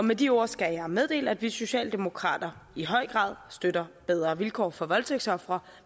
med de ord skal jeg meddele at vi socialdemokrater i høj grad støtter bedre vilkår for voldtægtsofre